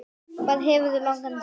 Hvað hefurðu langan tíma?